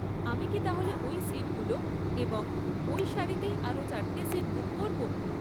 আমি কি তাহলে ওই সিটগুলো এবং ওই সারিতেই আরও চারটে সিট বুক করব?